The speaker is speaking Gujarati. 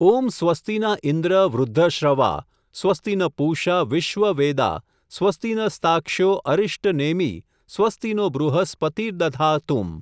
ઓમ સ્વસ્તિના ઈન્દ્ર વૃઘ્ધશ્રવા સ્વસ્તિ ન પૂષા વિશ્વવેદા સ્વસ્તિ ન સ્તાક્ષ્યો અરિષ્ટનેમિ સ્વસ્તિનો બૃહસ્પતિર્દધાતું !.